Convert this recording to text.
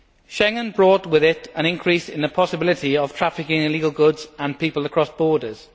Schengen brought with it an increase in the possibility of trafficking in illegal goods and people across borders.